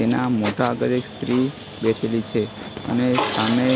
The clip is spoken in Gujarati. તેના મોટા આગળ એક સ્ત્રી બેઠેલી છે અને સામે